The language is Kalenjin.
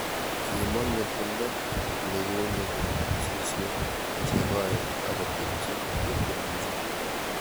Kimong ngetundo nekiunyekei eng suswek che koen akotepchi cheptikirchet